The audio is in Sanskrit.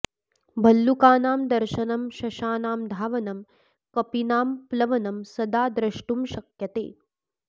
भल्लूकानां दर्शनं शशानां धावनं कपिनां प्लवनं सदा द्र्ष्टुं शक्यते